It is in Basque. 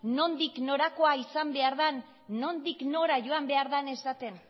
nondik norakoa izan behar dan nondik nora joan behar dan esaten